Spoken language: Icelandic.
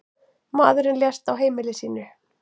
Maðurinn lést á heimili sínu.